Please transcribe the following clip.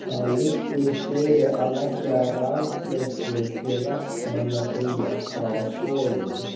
Þá liggur fyrir að leggja rafleiðslu til Vestmannaeyja frá Soginu.